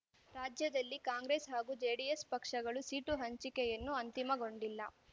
ರಾಜ್ಯದಲ್ಲಿ ಕಾಂಗ್ರೆಸ್ ಹಾಗೂ ಜೆಡಿಎಸ್ ಪಕ್ಷಗಳು ಸೀಟು ಹಂಚಿಕೆಯನ್ನು ಅಂತಿಮಗೊಂಡಿಲ್ಲ